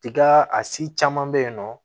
Tiga a si caman bɛ yen nɔ